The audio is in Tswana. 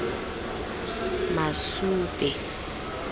masube